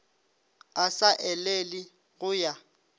a sa elele go ya